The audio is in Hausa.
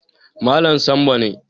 Malam Sambo ne